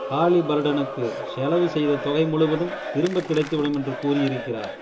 ஹாலிபர்டனுக்கு செலவு செய்த தொகை முழுவதும் திரும்பக் கிடைத்துவிடும் என்று கூறியிருக்கிறார்